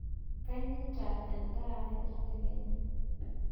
Kanyieta endaa e tedekenya.